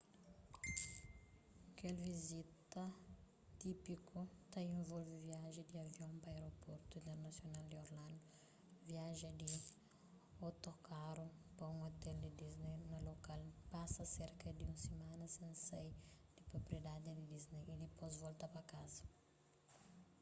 kel vizita típiku ta involve viaja di avion pa aéroportu internasional di orlando viaja di otokaru pa un ôtel di disney na lokal pasa serka di un simana sen sai di propriedaddi di disney y dipôs volta pa kaza